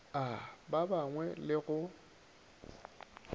a ba bangwe le go